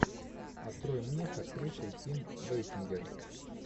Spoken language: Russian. открой мне с актрисой ким бейсингер